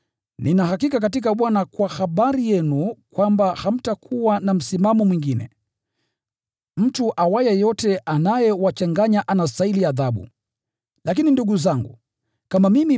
Nina hakika katika Bwana kwamba hamtakuwa na msimamo mwingine. Mtu anayewachanganya anastahili adhabu, hata awe nani.